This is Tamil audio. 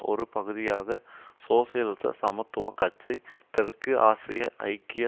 ஒரு பகுதியாக சோசியலிச சமத்துவ கட்சி தெற்கு ஆசிய ஐக்கிய